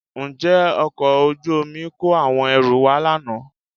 Ǹjẹ́ ọkọ̀ ojú omi kó àwọn ẹrù wá lánàá?